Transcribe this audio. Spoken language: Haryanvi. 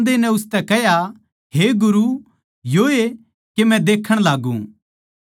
वो अपणा चोगा बगाकै तोळा उठ्या अर यीशु कै धोरै आया